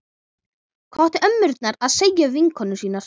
Hvað áttu ömmurnar að segja við vinkonur sínar?